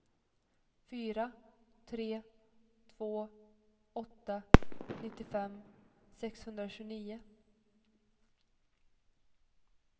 fyra tre två åtta nittiofem sexhundratjugonio